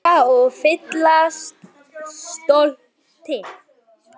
Helga: Og fyllast stolti?